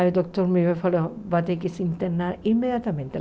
Aí o doutor me veio e falou, vai ter que se internar imediatamente.